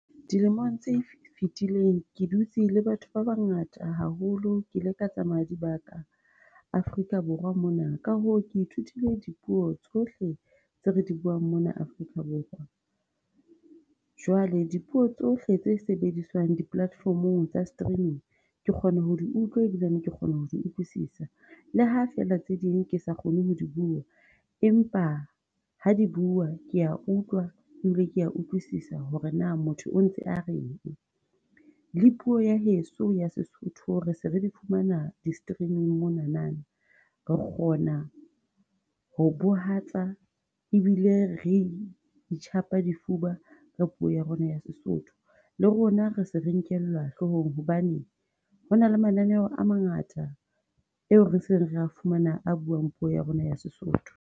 Dilemong tse fitileng ke dutse le batho ba bangata haholo, ke ile ka tsamaya dibaka Africa Borwa mona, ka hoo ke ithutile dipuo tsohle tse re di buang mona Afrika Borwa. Jwale dipuo tsohle tse sebediswang di-platform tsa streaming, ke kgone ho utlwa ebile, ke kgona ho utlwisisa, le ha feela tse ding ke sa kgone ho di bua, empa ha di buuwa kea utlwa, ebile kea utlwisisa hore na motho o ntse a reng. Le puo ya heso ya seSotho re se re di fumana di-streaming monana. Re kgona ho bahatsa ebile re itjhapa difuba ka puo ya rona ya seSotho, le rona rese re nkellwa hlohong hobane hona le mananeo a mangata eo re seng re a fumana a buang puo ya rona ya Sesotho.